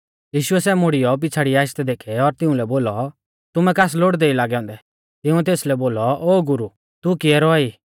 यीशुऐ सै मुड़ियौ पिछ़ाड़िऐ आशदै देखै और तिउंलै बोलौ तुमै कास लोड़दै ई लागै औन्दै तिंउऐ तेसलै बोलौ ओ गुरु तू कियै रौआ ई